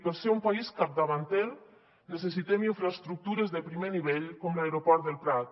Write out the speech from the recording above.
per ser un país capdavanter necessitem infraestructures de primer nivell com l’aeroport del prat